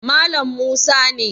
Malam musa ne